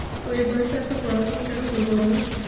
তো এই বয়েসে এতো পড়াশোনা কেন করবো আমরা?